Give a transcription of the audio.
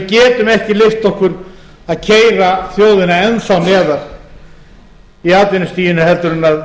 við getum ekki leyft okkur að keyra þjóðina enn þá neðar í atvinnustiginu heldur